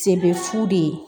Sen bɛ fu de